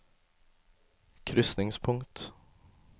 krysningspunkt